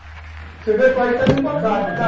Você vê o país estava embarcado, não estava?